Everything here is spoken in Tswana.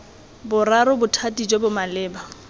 boraro bothati jo bo maleba